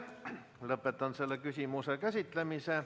Lõpetan selle küsimuse käsitlemise.